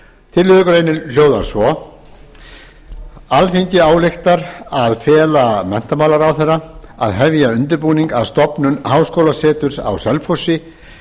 tillögugreinin hljóðar svo alþingi ályktar að fela menntamálaráðherra að hefja undirbúning að stofnun háskólaseturs á selfossi